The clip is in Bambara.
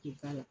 K'u k'a la